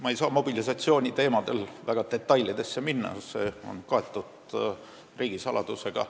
Ma ei saa mobilisatsiooniteemadel rääkides väga detailidesse minna, see on kaetud riigisaladusega.